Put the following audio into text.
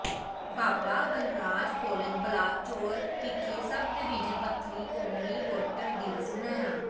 ਬਾਬਾ Balraj college Balachaur ਵਿਖੇ sub division ਪੱਧਰੀ ਕੌਮੀ ਵੋਟਰ ਦਿਵਸ ਮਨਾਇਆ